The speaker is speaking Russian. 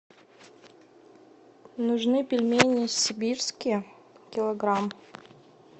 нужны пельмени сибирские килограмм